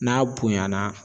N'a bonyana